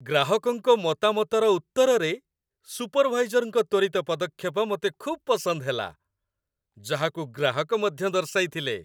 ଗ୍ରାହକଙ୍କ ମତାମତର ଉତ୍ତରରେ ସୁପରଭାଇଜରଙ୍କ ତ୍ୱରିତ ପଦକ୍ଷେପ ମୋତେ ଖୁବ୍ ପସନ୍ଦ ହେଲା, ଯାହାକୁ ଗ୍ରାହକ ମଧ୍ୟ ଦର୍ଶାଇଥିଲେ।